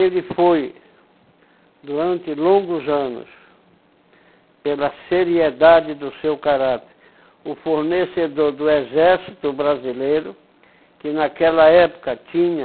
Ele foi, durante longos anos, pela seriedade do seu caráter, o fornecedor do exército brasileiro, que naquela época tinha